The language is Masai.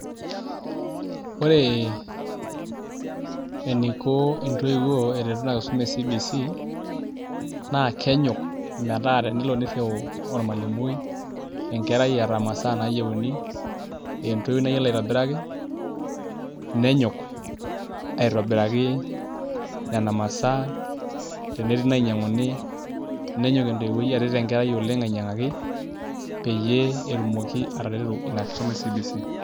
Ore eniko intoiwuo eretu ina kisuma e CBC naa kenyok metaa tenelo nirriu ormalimui enkerai eeta imasaa naayieuni ee entoiwuoi nayiolo aitobiraki nenyok aitobiraki nena masaa tenetii inainyiang'uni nenyok entoiwuoi aret enkerai oleng' ainyiang'ani peyie etumoki ataretu ina kisuma e CBC.